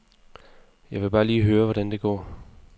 Jeg ville bare lige høre, hvordan det går.